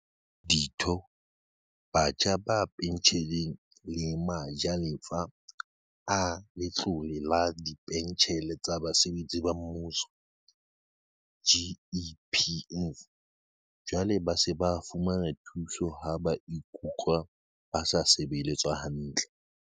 Ditho, batho ba pentjheleng le ma jalefa a Letlole la Dipentjhele tsa Basebetsi ba Mmuso, GEPF, jwale ba se ba fumana thuso ha ba ikutlwa ba sa sebeletswa hantle.